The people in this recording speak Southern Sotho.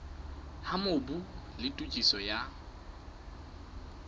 ha mobu le tokiso ya